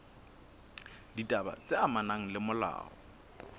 ditaba tse amanang le molao